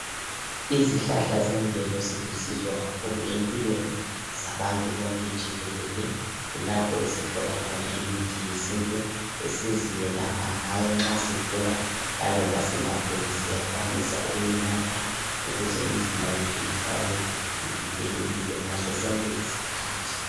Izihlahla zemvelo zilusizo kakhulu empilweni zabantu bonke jikelele. Kulapho esithola khona imithi yesintu esiziyelapha ngayo nxa sigula lanxa singaguli siyakwanisa ukuyinatha ukuze imizimba yethu ihlale ivikelekile ngasosonke isikhathi.